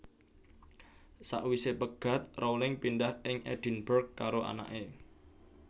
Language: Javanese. Sawisé pegat Rowling pindah ing Edinburg karo anaké